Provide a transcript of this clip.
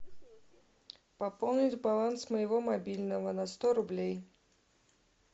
пополнить баланс моего мобильного на сто рублей